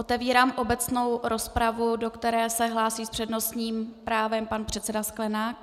Otevírám obecnou rozpravu, do které se hlásí s přednostním právem pan předseda Sklenák.